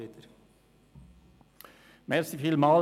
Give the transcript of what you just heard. Jetzt sollte es wieder klappen.